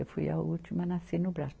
Eu fui a última nasci no Brás.